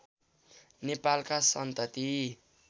नेपालका सन्तति